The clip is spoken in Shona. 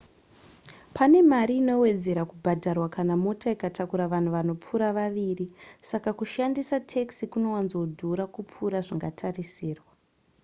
pane mari inowedzera kubhadharwa kana mota ikatakura vanhu vanopfuura vaviri saka kushandisa taxi kunowanzodhura kupfuura zvingatarisirwa